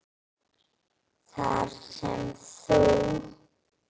Þar sem þú